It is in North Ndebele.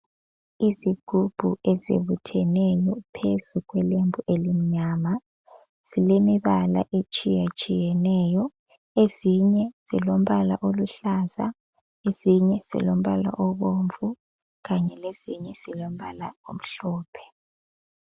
Izigubhu ezibutheneyo phezu kwelembu elimnyama. Zilemibala etshiyatshiyeneyo, ezinye zilombala oluhlaza, ezinye zilombala obomvu kanye lezinye zilombala omhlophe.